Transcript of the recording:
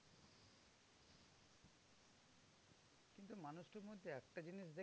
একটা জিনিস দেখ